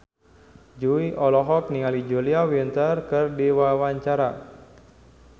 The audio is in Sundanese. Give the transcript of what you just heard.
Jui olohok ningali Julia Winter keur diwawancara